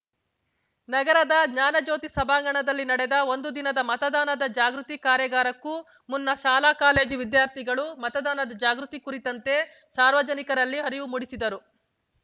ನಗರದ ಜ್ಞಾನಜ್ಯೋತಿ ಸಭಾಂಗಣದಲ್ಲಿ ನಡೆದ ಒಂದು ದಿನದ ಮತದಾನದ ಜಾಗೃತಿ ಕಾರ್ಯಾಗಾರಕ್ಕೂ ಮುನ್ನ ಶಾಲಾ ಕಾಲೇಜು ವಿದ್ಯಾರ್ಥಿಗಳು ಮತದಾನ ಜಾಗೃತಿ ಕುರಿತಂತೆ ಸಾರ್ವಜನಿಕರಲ್ಲಿ ಅರಿವು ಮೂಡಿಸಿದರು